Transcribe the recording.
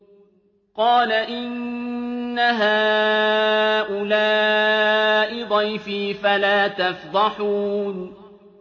قَالَ إِنَّ هَٰؤُلَاءِ ضَيْفِي فَلَا تَفْضَحُونِ